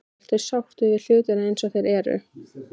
Helga: Ertu sáttur við hlutina eins og þeir eru?